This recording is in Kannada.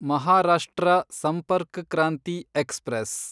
ಮಹಾರಾಷ್ಟ್ರ ಸಂಪರ್ಕ್ ಕ್ರಾಂತಿ ಎಕ್ಸ್‌ಪ್ರೆಸ್